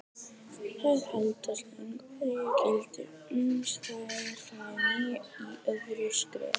Þær halda síðan hverju gildi uns þær fá ný í öðru skrefi.